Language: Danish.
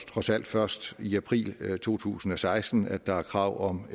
trods alt først i april to tusind og seksten at der er krav om